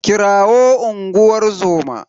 Kirawo unguwar zoma.